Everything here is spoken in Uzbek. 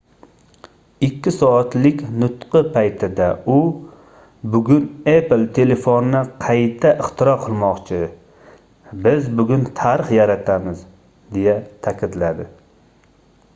2 soatlik nutqi paytida u bugun apple telefonni qayta ixtiro qilmoqchi biz bugun tarix yaratamiz - deya taʼkidladi